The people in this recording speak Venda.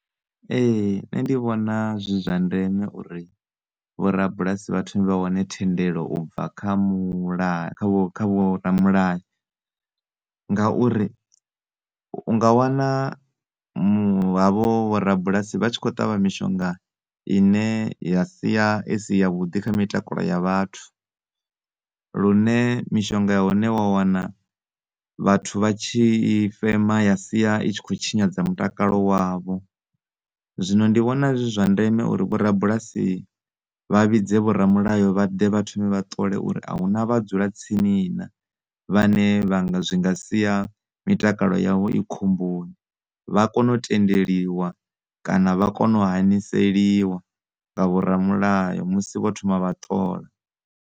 Ee, nṋe ndi vhona zwi zwa ndeme uri vho rabulasi vha thome vha wane thendelo u bva kha mulayo kha vho kha vho ramulayo ngauri u nga wana mu havho vho rabulasi vha tshi kho ṱavha mishonga ine ya sia isi yavhuḓi kha mitakalo ya vhathu. Lune mishonga ya hone wa wana vhathu vha tshi i fema ya sia i tshi kho tshinyadza mutakalo wavho. Zwino ndi vhona zwi zwa ndeme uri vho rabulasi vha vhidze vho ramulayo vhaḓe vha thome vha ṱole uri ahuna vha dzula tsini na vhane zwinga sia mitakalo yavho i khomboni vha kone u tendeliwa kana vha kone u haneseliwa nga vho ramulayo vho thoma vha ṱola.